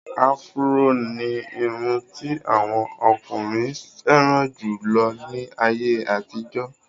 Áfúró ní irun ti àwọn ọkùnrin fẹ́ràn jù lọ ní àyè àtijọ́.